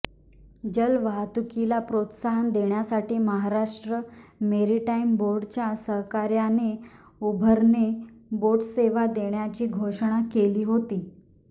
जलवाहतुकीला प्रोत्साहन देण्यासाठी महाराष्ट्र मेरीटाईम बोर्डच्या सहकार्याने उबरने बोटसेवा देण्याची घोषणा केली होती